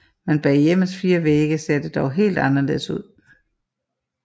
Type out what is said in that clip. Men bag hjemmets fire vægge ser det dog helt anderledes ud